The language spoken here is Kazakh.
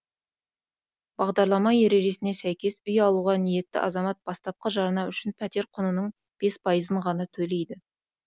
бағдарлама ережесіне сәйкес үй алуға ниетті азамат бастапқы жарна үшін пәтер құнының бес пайызын ғана төлейді